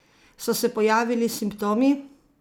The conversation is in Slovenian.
So se pojavili simptomi?